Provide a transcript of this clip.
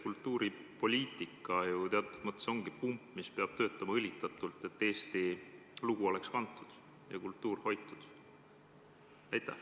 Kultuuripoliitika ju teatud mõttes ongi pump, mis peab töötama õlitatult, et Eesti lugu oleks kantud ja kultuur hoitud?